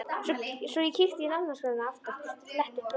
Svo ég kíkti í nafnaskrána aftast og fletti upp Rósu.